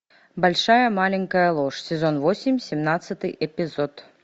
большая маленькая ложь сезон восемь семнадцатый эпизод